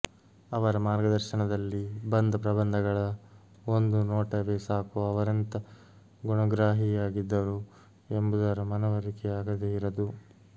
ಅವರ ಮಾರ್ಗದರ್ಶನದಲ್ಲಿ ಬಂದ ಪ್ರಬಂಧಗಳ ಒಂದು ನೋಟವೇ ಸಾಕು ಅವರೆಂಥ ಗುಣಗ್ರಾಹಿಯಾಗಿದ್ದರು ಎಂಬುದರ ಮನವರಿಕೆ ಆಗದೇ ಇರದು